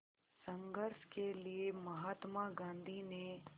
संघर्ष के लिए महात्मा गांधी ने